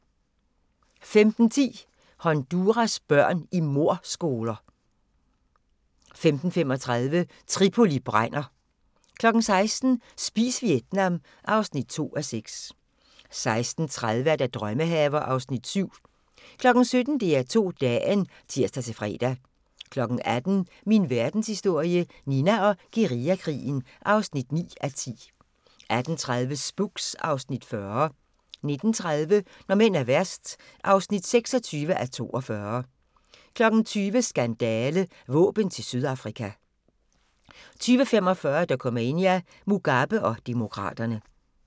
15:10: Honduras børn i mordskoler 15:35: Tripoli brænder! 16:00: Spis Vietnam (2:6) 16:30: Drømmehaver (Afs. 7) 17:00: DR2 Dagen (tir-fre) 18:00: Min Verdenshistorie – Nina og guerillakrigen (9:10) 18:30: Spooks (Afs. 40) 19:30: Når mænd er værst (26:42) 20:00: Skandale – Våben til Sydafrika 20:45: Dokumania: Mugabe og demokraterne